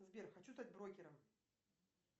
сбер хочу стать брокером